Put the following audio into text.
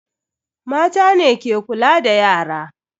Mata ne ke kula da yara.